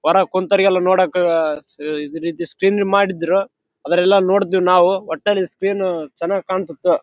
ಇಲ್ಲಿ ಮದುವಿ ಮು ಕಲ್ಯಾಣ ಮಂಟಪ ಐತಿ.